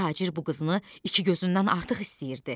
Tacir bu qızını iki gözündən artıq istəyirdi.